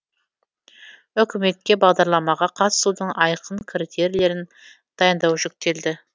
үкіметке бағдарламаға қатысудың айқын критерийлерін дайындау жүктелді